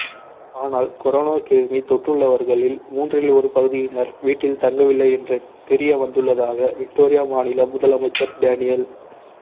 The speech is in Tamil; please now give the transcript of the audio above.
ஆனாால் கொரோனா கிருமி தொற்றுள்ளவர்களில் மூன்றில் ஒரு பகுதியினர் வீட்டில் தங்கவில்லை என்று தெரியவந்துள்ளதாக விக்டோரியா மாநில முதலமைச்சர் டேனியல்